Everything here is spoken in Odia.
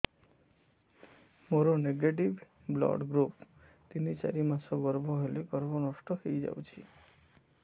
ମୋର ନେଗେଟିଭ ବ୍ଲଡ଼ ଗ୍ରୁପ ତିନ ଚାରି ମାସ ଗର୍ଭ ହେଲେ ଗର୍ଭ ନଷ୍ଟ ହେଇଯାଉଛି